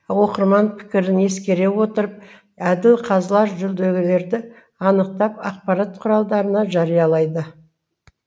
оқырман пікірін ескере отырып әділ қазылар жүлдегерлерді анықтап ақпарат құралдарында жариялайды